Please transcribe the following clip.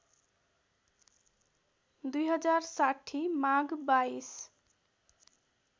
२०६० माघ २२